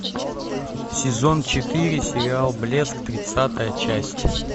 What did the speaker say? сезон четыре сериал блеск тридцатая часть